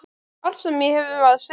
Allt sem ég hef að segja?